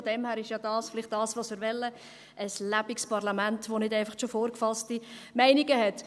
Von daher ist dies ja vielleicht das, was wir wollen: ein lebendiges Parlament, das nicht einfach schon vorgefasste Meinungen hat.